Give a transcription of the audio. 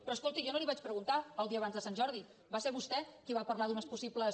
però escolti jo no li vaig preguntar el dia abans de sant jordi va ser vostè qui va parlar d’unes possibles